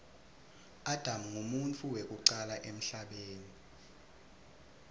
adam nqumuntfu wekucala emhlabeni